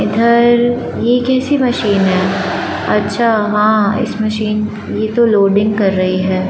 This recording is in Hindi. इधर ये कैसी मशीन है अच्छा हां इस मशीन ये तो लोडिंग कर रही है।